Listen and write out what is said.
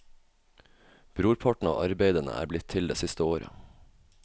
Brorparten av arbeidene er blitt til det siste året.